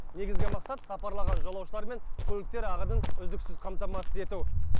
негізгі мақсат сапарлаған жолаушылар мен көліктер ағынын үздіксіз қамтамасыз ету